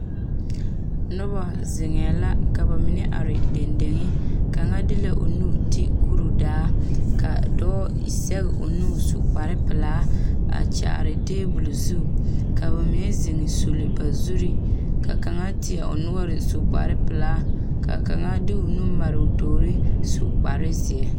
Noba zeŋɛɛ la ka ba mine are dendeŋ kaŋa de la o nu ti kuridaa ka dɔɔ zɛge o nu su kparepelaa a kyaare tabol zu ka ba mine zeŋ suli ba zuri ka kaŋa teɛ o noɔre su kparepelaa ka kaŋa de o nu mare o tuuri su kparezeɛ.